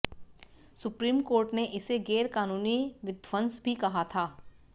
supreme court ने इसे गैरकानूनी विध्वंस भी कहा था